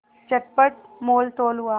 चटपट मोलतोल हुआ